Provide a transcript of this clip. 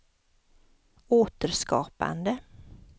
återskapande